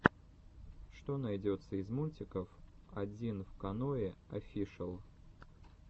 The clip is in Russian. что найдется из мультиков одинвканоеофишэл